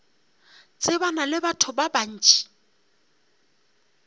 tsebana le batho ba bant